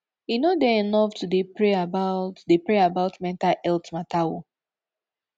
e no dey enough to dey pray about dey pray about mental healt mata o